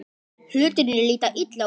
Hlutirnir líta illa út